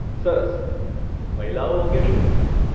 સરસ. મહિલાઓ અંગે શું?